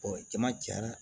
jama cayara